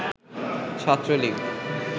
Chhatra League